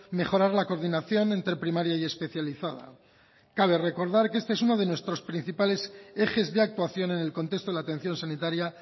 mejorar la coordinación entre primaria y especializada cabe recordar que este es uno de nuestro principales ejes de actuación en el contexto de la atención sanitaria